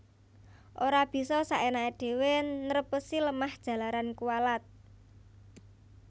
Ora bisa sakenaké dhéwé nrèpèsi lemah jalaran kuwalat